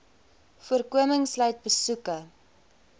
voorkoming sluit besoeke